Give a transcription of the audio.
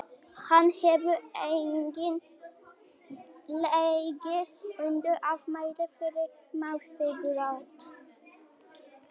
hún hefur einnig legið undir ámæli fyrir mannréttindabrot